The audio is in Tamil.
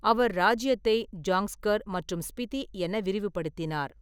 அவர் ராஜ்யத்தை ஜாங்ஸ்கர் மற்றும் ஸ்பிதி என விரிவுபடுத்தினார்.